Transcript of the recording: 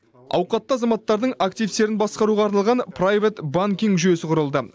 ауқатты азаматтардың активтерін басқаруға арналған приват банкинг жүйесі құрылды